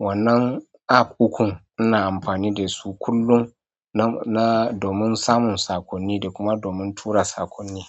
Wannan app ukun ina amfani da su kullum na, domin samun saƙonni da kuma domin tura saƙonni.